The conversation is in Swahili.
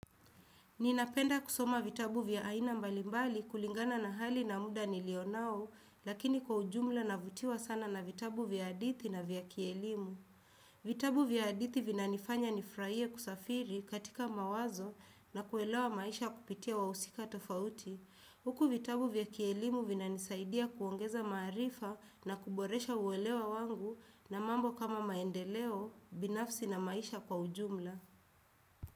Ninapenda kusoma vitabu vya aina mbalimbali kulingana na hali na muda nilionao, lakini kwa ujumla navutiwa sana na vitabu vya hadithi na vya kielimu. Vitabu vya hadithi vinanifanya nifurahie kusafiri katika mawazo na kuelewa maisha kupitia wahusika tofauti. Huku vitabu vya kielimu vinanisaidia kuongeza maarifa na kuboresha uelewa wangu na mambo kama maendeleo, binafsi na maisha kwa ujumla.